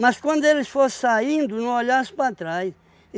Mas quando ele for saindo, não olhasse para trás.